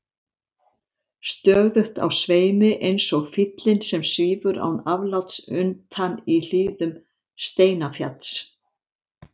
Stöðugt á sveimi eins og fýllinn sem svífur án afláts utan í hlíðum Steinafjalls.